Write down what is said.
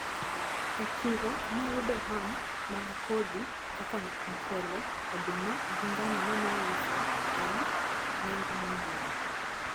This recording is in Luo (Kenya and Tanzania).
E chiro nayudo ham mag kodhi kaka mchele, oduma gi ngano maneiuso e nengo moyweyo.